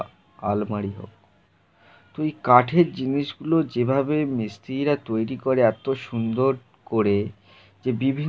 তুই কাঠের জিনিসগুলো যেভাবে মিস্ত্রীরা তৈরি করে এত সুন্দর করে যে বিভিন্ন ডিজাইন এ তারা বানিয়ে থাক--